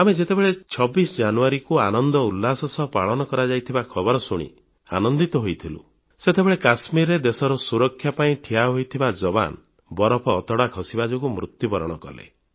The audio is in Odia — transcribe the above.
ଆମେ ଯେତେବେଳେ 26 ଜାନୁୟାରୀକୁ ଆନନ୍ଦ ଉଲ୍ଲାସ ସହ ପାଳନ କରାଯାଇଥିବା ଖବର ଶୁଣି ଆନନ୍ଦିତ ହୋଇଥିଲୁ ସେତେବେଳେ କାଶ୍ମୀରରେ ଦେଶର ସୁରକ୍ଷା ପାଇଁ ଠିଆ ହୋଇଥିବା ଯବାନ ବରଫ ଅତଡ଼ା ଖସିବା ଯୋଗୁଁ ମୃତ୍ୟୁବରଣ କଲେ